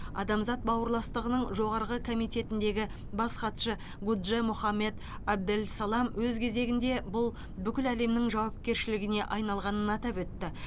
адамзат бауырластығының жоғарғы комитетіндегі бас хатшы гудже мохамед әбделсалам өз кезегінде бұл бүкіл әлемнің жауапкершілігіне айналғанын атап өтті